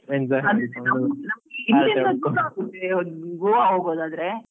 Goa ಹೋಗೂದಾದ್ರೆ.